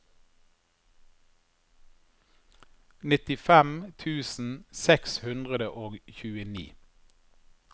nittifem tusen seks hundre og tjueni